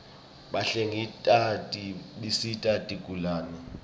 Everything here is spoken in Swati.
bahlengikati bisita tigulane